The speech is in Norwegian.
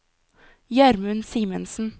Gjermund Simensen